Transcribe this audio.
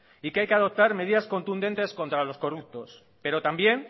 y que hay que adoptar medidas contundentes contra los corruptos pero también